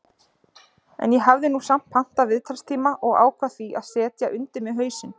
En ég hafði nú samt pantað viðtalstíma og ákvað því að setja undir mig hausinn.